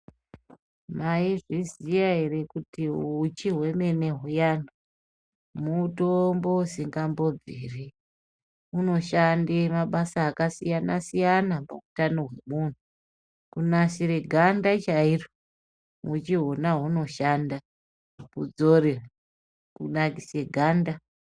Mayizviziva here kuti huchi hwemene huyani, mutombo usingambobviri. Unoshande mabasa akasiyana siyana pahutano hwemunhu. Kunasire ganda chairo huchi hona unoshanda kudzore, kunakise ganda.